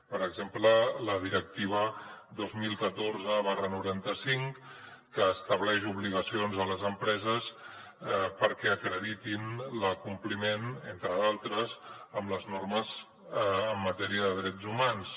per exemple la directiva dos mil catorze noranta cinc que estableix obligacions a les empreses perquè acreditin l’acompliment entre d’altres en les normes en matèria de drets humans